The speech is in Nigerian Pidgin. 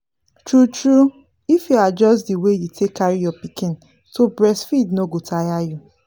true true if you adjust the way you take carry your pikin to breastfeed no go tire you